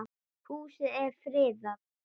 Húsið er friðað.